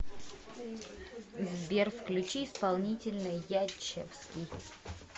сбер включи исполнителя ячевский